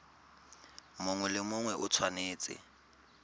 mongwe le mongwe o tshwanetse